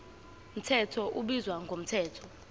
mthetho ubizwa ngomthetho